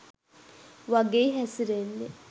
වගෙයි හැසිරෙන්නෙ.